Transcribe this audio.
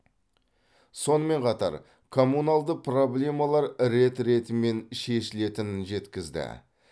сонымен қатар коммуналды проблемалар рет ретімен шешілетінін жеткізді